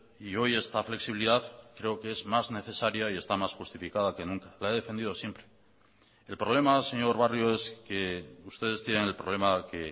y hoy esta flexibilidad creo que es más necesaria y está más justificada que nunca la he defendido siempre el problema señor barrio es que ustedes tienen el problema que